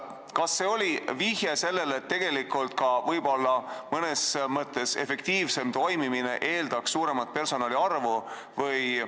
Kas see oli vihje sellele, et mõnes mõttes efektiivsem toimimine eeldaks suuremat personali arvu?